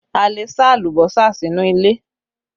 A lè sá alùbọ́sà sínú ilé